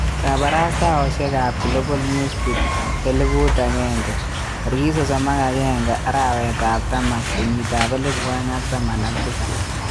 Kabarastaosyek ab Global Newsbeat 1000 31.10.2017